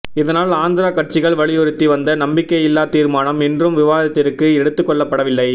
இதனால் ஆந்திரா கட்சிகள் வலியுறுத்தி வந்த நம்பிக்கையில்லா தீர்மானம் இன்றும் விவாதத்திற்கு எடுத்துக்கொள்ளப் படவில்லை